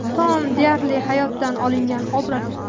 Tom deyarli hayotdan olingan obraz.